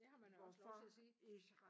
Det har man også lov til at sige